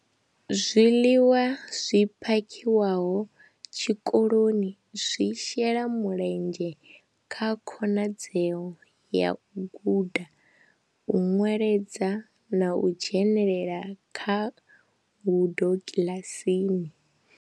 Zwiḽiwa zwi phakhiwaho tshikoloni zwi shela mulenzhe kha khonadzeo ya u guda, u nweledza na u dzhenelela kha ngudo kiḽasini.